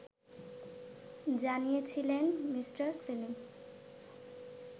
জানিয়েছিলেন মি. সেলিম